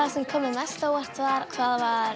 sem kom mér mest á óvart var hvað